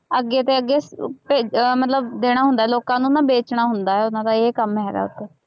ਅੱਗੇ ਤੇ ਅੱਗੇ ਭੇਜ ਅਹ ਮਤਲਬ ਦੇਣਾ ਹੁੰਦਾ ਹੈ ਲੋਕਾਂ ਨੂੰ ਨਾ ਵੇਚਣਾ ਹੁੰਦਾ ਹੈ, ਉਹਨਾਂ ਦਾ ਇਹ ਕੰਮ ਹੈਗਾ ਇੱਕ